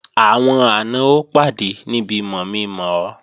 Àwọn àna ó pàdé níbi mọ̀mi-mọ̀ ọ